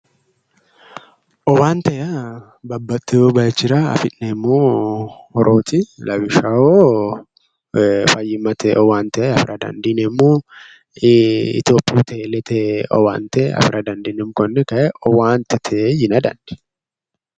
Owaante yaa babbaxxewo bayiichchira afi'neemmo horooti. lawishshaho fayyimmate owaante afira daandineemmo, Itiyophiyu teelete owaante afira daandineemmo, konne kayi owaantete yina dandineemmo.